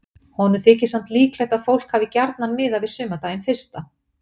Honum þykir samt líklegt að fólk hafi gjarnan miðað við sumardaginn fyrsta.